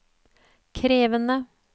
krevende